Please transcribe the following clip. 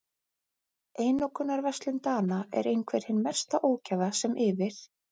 Einokunarverslun Dana er einhver hin mesta ógæfa sem yfir